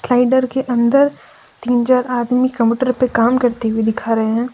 Cider के अंदर तीन चार आदमी कंप्यूटर पे काम करते हुए दिखा रहे हैं।